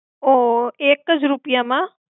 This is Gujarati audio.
ઉહ એકજ રૂપિયા માં?